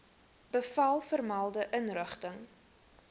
bevel vermelde inrigting